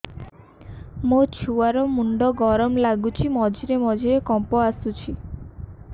ମୋ ଛୁଆ ର ମୁଣ୍ଡ ଗରମ ଲାଗୁଚି ମଝିରେ ମଝିରେ କମ୍ପ ଆସୁଛି